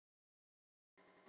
hildi en ekkert fundið.